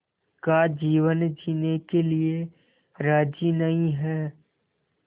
का जीवन जीने के लिए राज़ी नहीं हैं